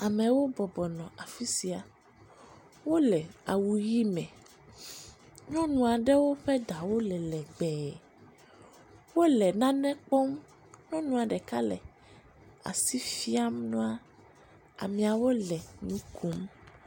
Amewo bɔbɔ nɔ afi sia, wole awu ʋɛ̃ me, nyɔnuawo ƒe ɖawo le legbee. Wole nane kpɔm, nyɔnua ɖeka asi fiam nua, ameawo le nu kom.